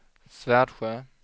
Svärdsjö